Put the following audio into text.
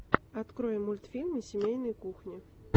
открой мультфильмы семейной кухни